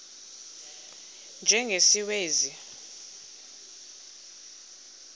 u y njengesiwezi